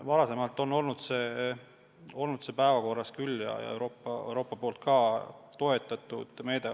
Varem on see päevakorral olnud küll ja Euroopa poolt ka toetatud meede.